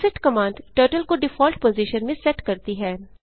reset command turtle को default position में set करती है